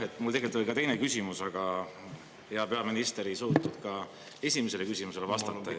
Jah, mul tegelikult oli ka teine küsimus, aga hea peaminister ei suutnud ka esimesele küsimusele vastata.